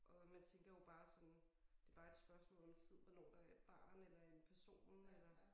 Og man tænker jo bare sådan det bare et spørgsmål om tid hvornår der et barn eller en person eller